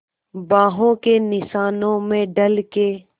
बाहों के निशानों में ढल के